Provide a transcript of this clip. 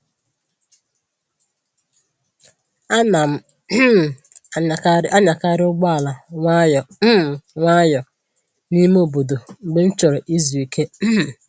Ana m um anyakarị ụgbọ ala nwayọ um nwayọ n'ime obodo mgbe m chọrọ ịzụ ike um